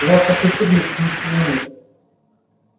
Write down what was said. в ваших учебниках ничего нет